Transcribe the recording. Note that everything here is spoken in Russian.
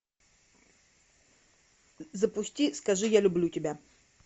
запусти скажи я люблю тебя